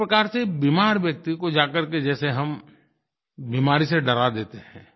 एक प्रकार से बीमार व्यक्ति को जाकर के जैसे हम बीमारी से डरा देते हैं